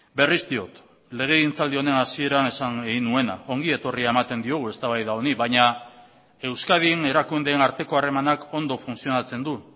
berriz diot legegintzaldi honen hasieran esan egin nuena ongi etorria ematen diogu eztabaida honi baina euskadin erakundeen arteko harremanak ondo funtzionatzen du